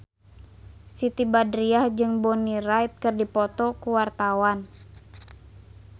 Siti Badriah jeung Bonnie Wright keur dipoto ku wartawan